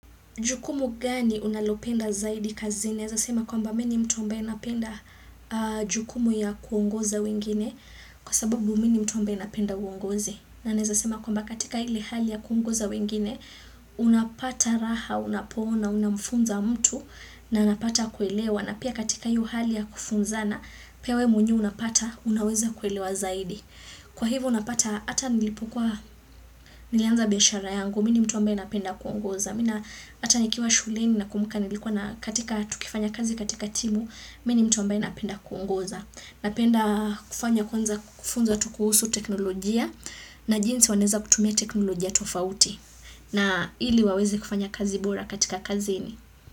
Jukumu gani unalopenda zaidi kazini? Naeza sema kwa mba mii ni mtu ambaye napenda jukumu ya kuongoza wengine kwa sababu mii ni mtu ambaye napenda uongozi. Na naeza sema kwa mba katika ile hali ya kuongoza wengine, unapata raha, unapoona, unamfunza mtu na napata kuelewa. Na pia katika hiyo hali ya kufunzana pia wee mwenyewe unapata, unaweza kuelewa zaidi. Kwa hivo unapata hata nilipokuwa nilianza biashara yangu, mii ni mtu ambaye napenda kuongoza. Mii na hata nikiwa shuleni na kumbuka nilikuwa na katika tukifanya kazi katika timu, mii ni mtu ambaye napenda kuongoza. Napenda kufanya kufunza tu kuhusu teknolojia na jinsi wanaweza kutumia teknolojia tofauti. Na hili waweze kufanya kazi bora katika kazini.